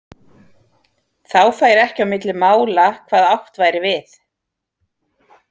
Þá færi ekki á milli mála hvað átt væri við.